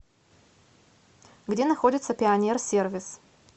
где находится пионер сервис